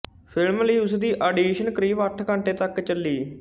film ਲਈ ਉਸਦੀ audition ਕਰੀਬ ਅੱਠ ਘੰਟੇ ਤੱਕ ਚੱਲੀ